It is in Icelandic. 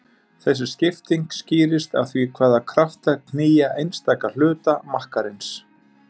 Þessi skipting skýrist af því hvaða kraftar knýja einstaka hluta makkarins.